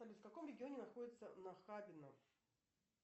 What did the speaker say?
салют в каком регионе находится нахабино